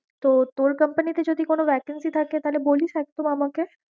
তো তোর company তে যদি কোন vacancy থাকে তাহলে বলিস একদম আমাকে।